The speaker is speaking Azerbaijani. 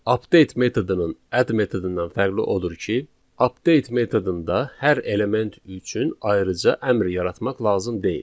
Update metodunun add metodundan fərqi odur ki, update metodunda hər element üçün ayrıca əmr yaratmaq lazım deyil.